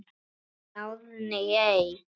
Þín Árný Eik.